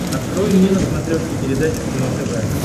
открой мне на смотрешке передачу кино тв